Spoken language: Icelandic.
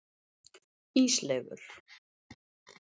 Ísleifur